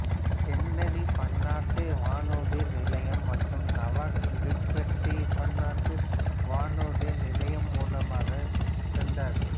Kennedy பன்னாட்டு வானூர்தி நிலையம் மற்றும் நவார்க் லிபர்டி பன்னாட்டு வானூர்தி நிலையம் மூலமாக சென்றார்கள்